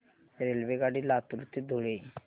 रेल्वेगाडी लातूर ते धुळे